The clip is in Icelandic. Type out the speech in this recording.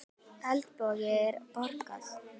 Eldborg í Hörpu.